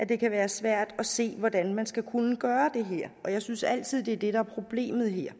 det kan være svært at se hvordan man skal kunne gøre det her og jeg synes altid det er det der er problemet her